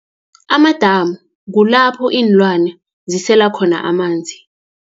Amadamu, kulapho iinlwane, zisela khona amanzi.